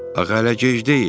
Axı hələ gec deyil.